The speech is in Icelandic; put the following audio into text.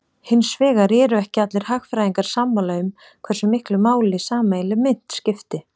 Hins vegar eru ekki allir hagfræðingar sammála um hversu miklu máli sameiginleg mynt skipti.